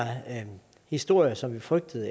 historier som vi frygtede